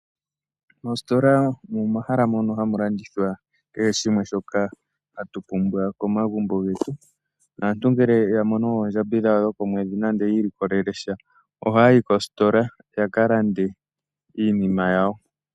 Moositola ohamu landithwa kehe shimwe shoka hatu pumbwa komagumbo getu . Aantu ngele ya mono oondjambi dhawo dhokomwedhi nande yi ilikolelesha . Ohaya yi koositola yaka lande iinima yawo . Kehe shimwe shoka hatu pumbwa komagumbo getu. Aantu ngele ya mono oondjambi dhawo dhokomwedhi nande yi ilikolelesha oha ya yi koositola yaka lande iinima yawo.